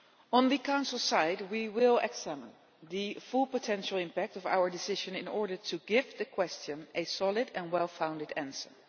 On the Council side, we will examine the full potential impact of our decision in order to give the question a solid and well founded answer.